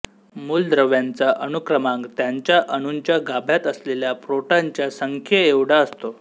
मूलद्रव्यांचा अणुक्रमांक त्यांच्या अणूंच्या गाभ्यात असलेल्या प्रोटॉनच्या संख्येएवढा असतो